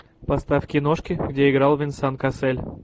поставь киношки где играл венсан кассель